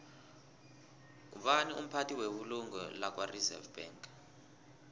ngubani umphathi webulungo lakwareserve bank